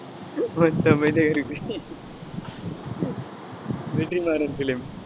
கொஞ்சம் அமைதியாயிரு வெற்றிமாறன் film